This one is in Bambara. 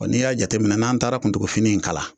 N'i y'a jateminɛ n'an taara kuntugufini in kala